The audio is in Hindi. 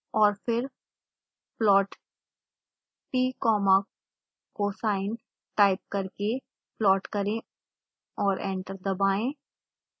और फिर plott comma cosine टाइप करके प्लॉट करें और एंटर दबाएं